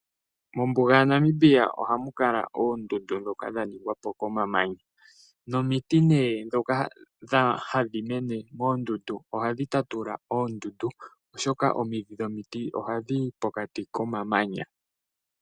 Mombuga yaNamibia ohamu kala oondundu ndhoka dha ningwa po komamanya. Nomiti nee ndhoka hadhi mene moondundu ohadhi tatula oondundu, oshoka omidhi dhomiti ohadhi yi pokati komamanya.